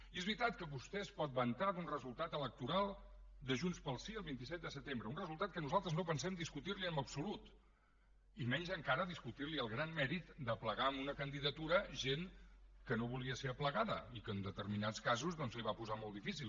i és veritat que vostè es pot vantar d’un resultat electoral de junts pel sí el vint set de setembre un resultat que nosaltres no pensem discutirli en absolut i menys encara discutirli el gran mèrit d’aplegar en una candidatura gent que no volia ser aplegada i que en determinats casos doncs li ho va posar molt difícil